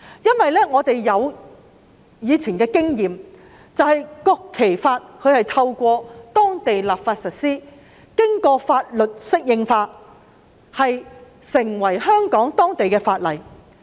根據以往的經驗，《中華人民共和國國旗法》正是透過當地立法實施，並經法律適應化而成為香港法例。